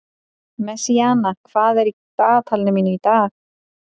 Messíana, hvað er í dagatalinu mínu í dag?